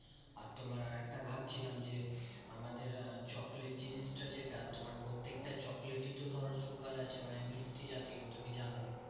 আর তোমার আরেকটা ভাবছিলাম যে, আমাদের আহ চকলেট জিনিসটা যেটা তোমার প্রত্যেকটা চকলেটই তো ধরো sugar আছে। মানে মিষ্টি জাতীয় তুমি জানোই।